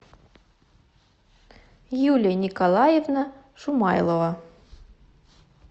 юлия николаевна шумайлова